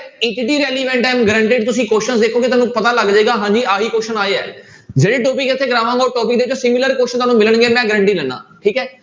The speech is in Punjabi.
am guaranteed ਤੁਸੀਂ question ਦੇਖੋਗੇ ਤੁੁਹਾਨੂੰ ਪਤਾ ਲੱਗ ਜਾਏਗਾ ਹਾਂਜੀ ਆਹੀ question ਆਏ ਹੈ ਜਿਹੜੇ topic ਇੱਥੇ ਕਰਵਾਂਗਾ ਉਹ topic similar question ਤੁਹਾਨੂੰ ਮਿਲਣਗੇ ਮੈਂ guarantee ਦਿਨਾ ਠੀਕ ਹੈ।